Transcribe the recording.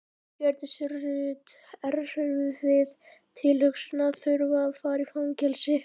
Hjördís Rut: Erfið tilhugsun að þurfa að fara í fangelsi?